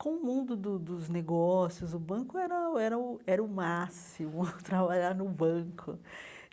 Com o mundo do dos negócios, o banco era o era o era o máximo, trabalhar no banco.